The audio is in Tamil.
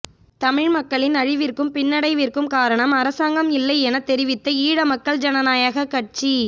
தமிழ் மக்களின் அழிவிற்கும் பின்னடைவிற்கும் காரணம் அரசாங்கம் இல்லை என தெரிவித்த ஈழமக்கள் ஜனநாயக கட்சி